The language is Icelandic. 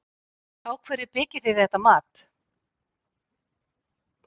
Á hverju byggið þið þetta mat?